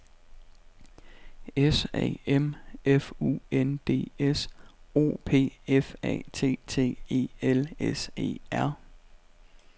S A M F U N D S O P F A T T E L S E R